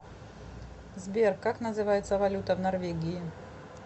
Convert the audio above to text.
сбер как называется валюта в норвегии